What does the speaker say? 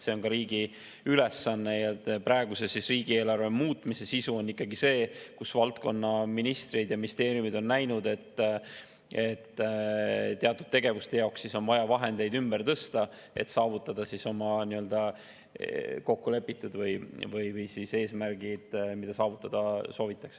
See on riigi ülesanne ja praeguse riigieelarve muutmise sisu on ikkagi see, et valdkonnaministrid ja ministeeriumid on näinud, et teatud tegevuste jaoks on vaja vahendeid ümber tõsta, et saavutada kokku lepitud eesmärgid, mida saavutada soovitakse.